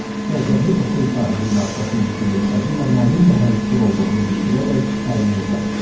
Qəzəbli otel sahibinin arxasınca gülümsədi və mənimlə həmfikir olduğunu bildirərək əlini uzatdı.